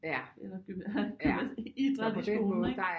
Eller have idræt i skolen ikke